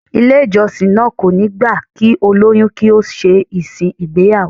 Ilé ìjọsìn náà kò ní gbà kí olóyún kí ó ṣe ìsìn ìgbéyàwó